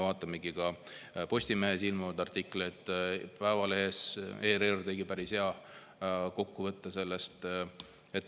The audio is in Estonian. Vaatame ka Postimehes ilmunud artikleid, Päevalehes, ERR tegi päris hea kokkuvõtte sellest.